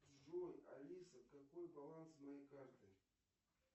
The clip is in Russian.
джой алиса какой баланс моей карты